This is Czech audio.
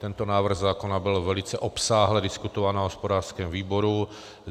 Tento návrh zákona byl velice obsáhle diskutován na hospodářském výboru.